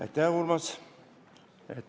Aitäh, Urmas!